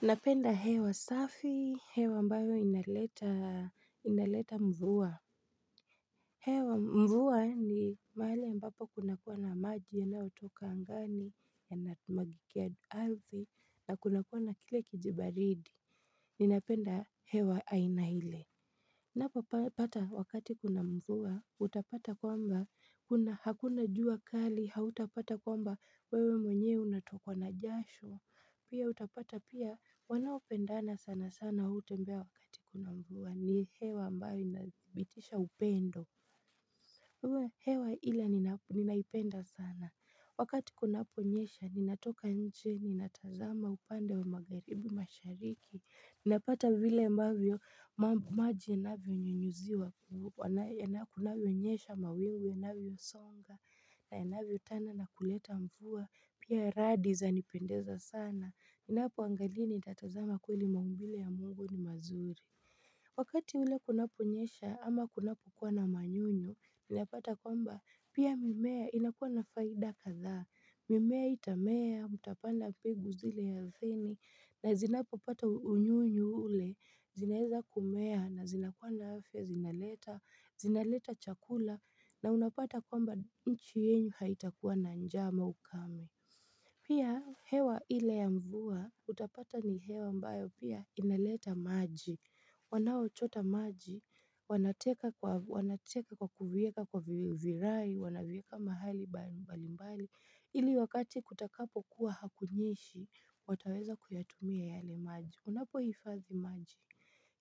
Napenda hewa safi, hewa ambayo inaleta mvuwa. Hewa mvuwa ni mahali ambapa kuna kuwa na maji yanaotoka angani yanamwagikia ardhi na kuna kuwa na kile kijibaridi. Ninapenda hewa aina ile. Napopata wakati kuna mvuwa utapata kwamba hakuna jua kali hautapata kwamba wewe mwenyewe unatokwa na jasho Pia utapata pia wanaopendana sana sana hutembea wakati kuna mvuwa ni hewa ambayo inadhibitisha upendo wewe hewa ila ninaipenda sana wakati kunaponyesha ninatoka nje ninatazama upande wa magaribi mashariki napata vile ambavyo maji inavyo nyunyuziwa kunavyonyesha mawingu inavyo songa, na inavyotana na kuleta mfuwa, pia radi zanipendeza sana. Ninapoangalia nitatazama kweli maumbile ya mungu ni mazuri. Wakati ule kunaponyesha ama kunapokuwa na manyunyu, ninapata kwamba pia mimea inakuwa na faida kadhaa. Mimea itamea, mutapanda mbegu zile ya arthini, na zinapopata unyunyu ule, zinaeza kumea, na zinakua na afya, zinaleta, zinaleta chakula, na unapata kwamba nchi yenyu haitakuwa na njama ukame. Pia hewa ile ya mvuwa utapata ni hewa ambayo pia inaleta maji Wanaochota maji, wanateka kwa kuvieka kwa virai, wanavieka mahali mbalimbali ili wakati kutakapokuwa hakunyeshi, wataweza kuyatumia yale maji, unapo hifazi maji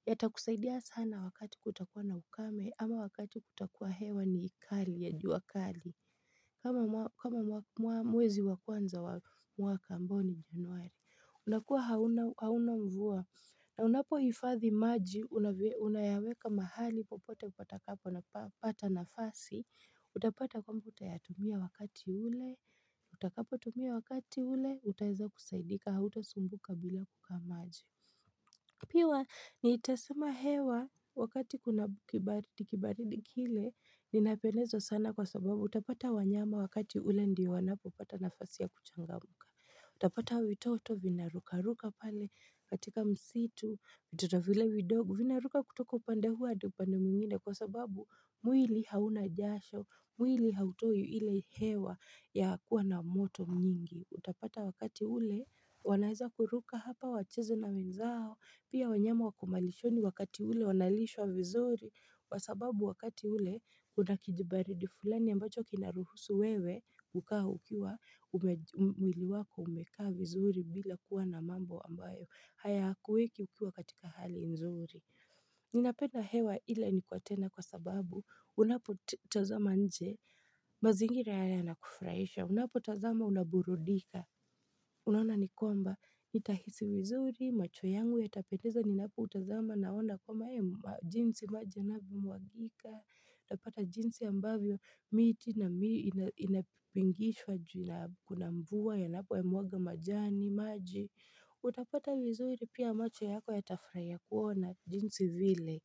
Yatakusaidia sana wakati kutakuwa na ukame ama wakati kutakuwa hewa ni kali ya jua kali kama mwezi wa kwanza wa mwaka ambao ni januari unakuwa hauna mvua na unapohifadhi maji unayaweka mahali popote upatakapo napata nafasi Utapata kwamba utayatumia wakati ule Utakapotumia wakati ule utaeza kusaidika hauta sumbuka bila kukaa maji Piwa nitasema hewa wakati kuna kibaridi kile Ninayapenezo sana kwa sababu utapata wanyama wakati ule ndiyo wanapopata nafasi ya kuchangamuka Utapata vitoto vinarukaruka pale katika msitu, vitoto vile vidogo Vinaruka kutoka upande huu adi upande mwingine kwa sababu mwili hauna jasho mwili hautowi ile hewa ya kuwa na moto nyingi Utapata wakati ule wanaeza kuruka hapa wacheze na wenzao Pia wanyama wako malishoni wakati ule wanalishwa vizuri kwa sababu wakati ule una kijibaridi fulani ambacho kinaruhusu wewe kukaa ukiwa mwili wako umekaa vizuri bila kuwa na mambo ambayo hayakuweki ukiwa katika hali nzuri ninapenda hewa ila ni tena kwa sababu unapotazama nje mazingira haya yanakufuraisha unapotazama unaburudika unaona ni kwamba nitahisi vizuri macho yangu yatapendeza ninapoutazama naona kwamba jinsi maji yanavyomwagika utapata jinsi ambavyo miti na inapingishwa juu kuna mvuwa yanapo ya mwaga majani maji utapata vizuri pia macho yako yatafurahia kuona jinsi vile.